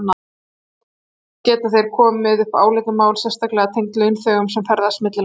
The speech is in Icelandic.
Þar geta komið upp álitamál sérstaklega tengd launþegum sem ferðast milli landa.